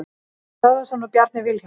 Árni Böðvarsson og Bjarni Vilhjálmsson.